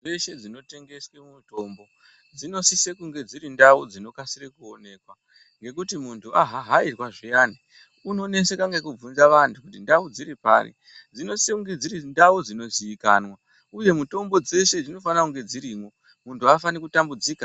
Nzvimbo dzese dzinotengeswe mitombo dzinosisekuva dziri nzvimbo dzinooneka nekuti muntu ahahairwa zviyani unoneseka nekubvunze anhu kuti ndau dziri pari ,dzinozise kunge dziri ndau dzinoziikanwa uye mutombo dzeshe dzinofanira kunga dzirimo muntu haafani kutambudzika.